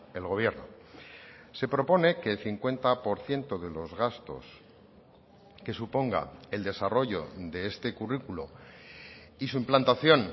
el gobierno se propone que el cincuenta por ciento de los gastos que suponga el desarrollo de este currículo y su implantación